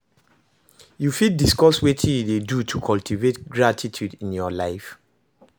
You fit discuss wetin you dey do to cultivate gratitude in your life?